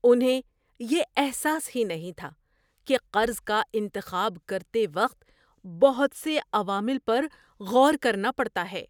انہیں یہ احساس ہی نہیں تھا کہ قرض کا انتخاب کرتے وقت بہت سے عوامل پر غور کرنا پڑتا ہے!